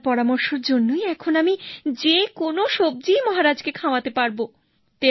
আপনার পরামর্শের জন্যই এখন আমি যেকোনো সবজিই মহারাজকে খাওয়াতে পারবো